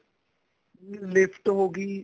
lift ਹੋਗੀ